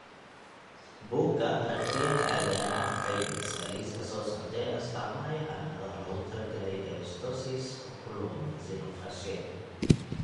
Buugga Aragtiyaha Aadanahawaxay bixisaa liiska soo socda ee astamaha iyo calaamadaha loogu talagalay dysostosis Oculomaxillofacial.